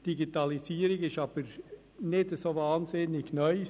Die Digitalisierung ist aber nicht so wahnsinnig neu.